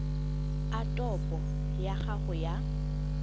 a topo ya gago ya